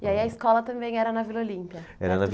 E aí a escola também era na Vila Olímpia, era na